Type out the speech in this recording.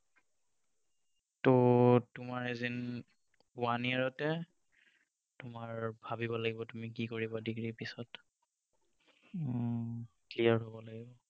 ত তোমাৰ as in one year তে তোমাৰ ভাবিব লাগিব তুমি কি কৰিবা degree পাছত clear হব লাগিব